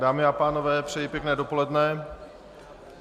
Dámy a pánové, přeji pěkné dopoledne.